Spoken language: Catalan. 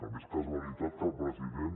també és casualitat que el president